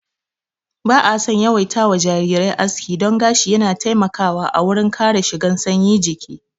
Ba'a son yawaita wa jarirai aski don gashi yana taimakawa a wurin kare shigan sanyi jiki